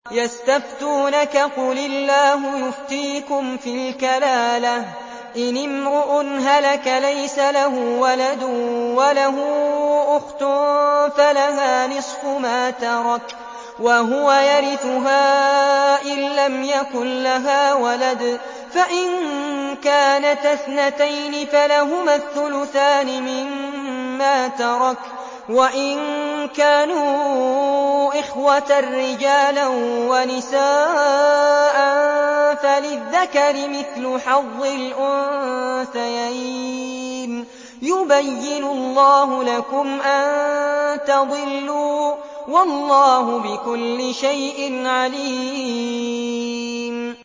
يَسْتَفْتُونَكَ قُلِ اللَّهُ يُفْتِيكُمْ فِي الْكَلَالَةِ ۚ إِنِ امْرُؤٌ هَلَكَ لَيْسَ لَهُ وَلَدٌ وَلَهُ أُخْتٌ فَلَهَا نِصْفُ مَا تَرَكَ ۚ وَهُوَ يَرِثُهَا إِن لَّمْ يَكُن لَّهَا وَلَدٌ ۚ فَإِن كَانَتَا اثْنَتَيْنِ فَلَهُمَا الثُّلُثَانِ مِمَّا تَرَكَ ۚ وَإِن كَانُوا إِخْوَةً رِّجَالًا وَنِسَاءً فَلِلذَّكَرِ مِثْلُ حَظِّ الْأُنثَيَيْنِ ۗ يُبَيِّنُ اللَّهُ لَكُمْ أَن تَضِلُّوا ۗ وَاللَّهُ بِكُلِّ شَيْءٍ عَلِيمٌ